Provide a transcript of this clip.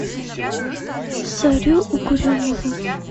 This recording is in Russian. зарю угрюмову